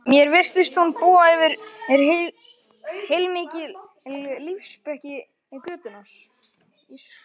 Mér virtist hún búa yfir heilmikilli lífsspeki götunnar